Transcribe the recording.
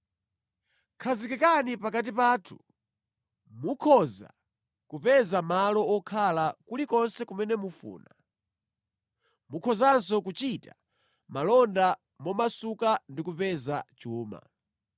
Khazikikani pakati pathu. Mukhoza kupeza malo wokhala kulikonse kumene mufuna. Mukhozanso kuchita malonda momasuka ndi kupeza chuma.”